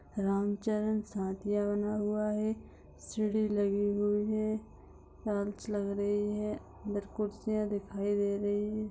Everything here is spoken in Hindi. रंग चरण साठिया बना हुआ है सीढ़ी लगी हुई हैं कांच लग रही है दो कुर्सियाॅं दिखाई दे रही हैं।